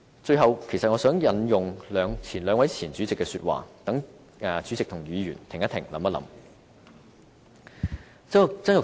最後，其實我想引用兩位前主席的話，讓主席和議員也停一停，想一想。